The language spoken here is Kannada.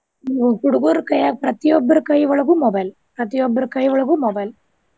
ಹ್ಮ್ ಹುಡ್ಗುರ್ ಕೈಯಾಗ್ ಪ್ರತಿಯೊಬ್ರು ಕೈ ಒಳಗು mobile ಪ್ರತಿಯೊಬ್ರು ಕೈಯೊಳಗು mobile.